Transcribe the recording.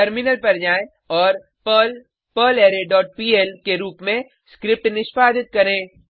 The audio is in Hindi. टर्मिनल पर जाएँ और पर्ल पर्लरे डॉट पीएल के रुप में स्क्रिप्ट निष्पादित करें